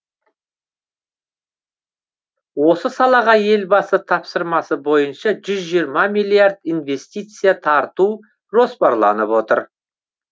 осы салаға елбасы тапсырмасы бойынша жүз жиырма миллиард инвестиция тарту жоспарланып отыр